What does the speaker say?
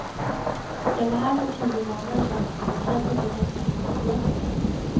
Jag var här för tio månader sedan, känner nu nästan inte igen mig.